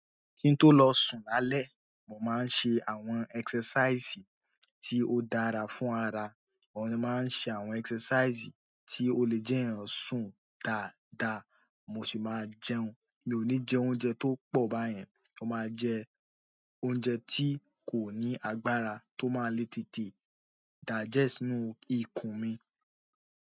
Kí n tó lọ sùn lálé, mo máa n se àwọn exercise tí ó dára fún ara. Òhun ni mo máa ń ṣe àwọn exercise tí ó le jẹ́ kí èèyàn sùn dáadáa, mo sì máa jẹun. Mi ò ní jẹ oúnjẹ tó pọ̀ báyẹn, mo máa jẹ oúnjẹ tí kò ní agbára tó máa le tètè digest nínú ikùn mi.